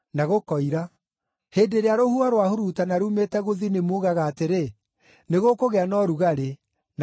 Hĩndĩ ĩrĩa rũhuho rwahurutana ruumĩte gũthini muugaga atĩrĩ, ‘Nĩgũkũgĩa na ũrugarĩ,’ na gũkagĩa.